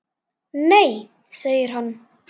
Nei segir hann.